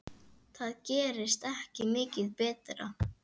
Það gerist ekki mikið betra.